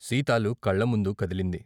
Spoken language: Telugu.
సీతాలు కళ్ళముందు కదిలింది.